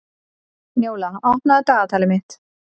Njóla, opnaðu dagatalið mitt.